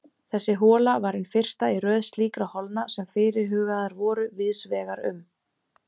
Þessi hola var hin fyrsta í röð slíkra holna sem fyrirhugaðar voru víðs vegar um